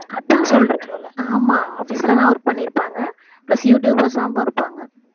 அதான் சொல்றேன் ஆமா office ல தான் work பண்ணிருப்பாங்க plus யூடுயூபர்ஸாவும் இருப்பாங்க